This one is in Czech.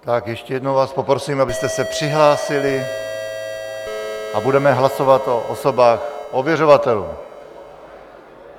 Tak ještě jednou vás poprosím, abyste se přihlásili, a budeme hlasovat o osobách ověřovatelů.